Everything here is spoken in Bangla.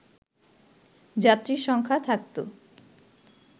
যাত্রী সংখ্যা থাকতো